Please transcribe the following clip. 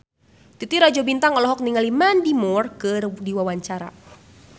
Titi Rajo Bintang olohok ningali Mandy Moore keur diwawancara